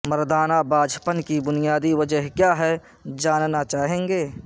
مردانہ بانجھ پن کی بنیادی وجہ کیا ہے جاننا چاہیں گے